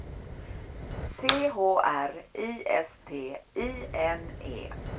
C H R I S T I N E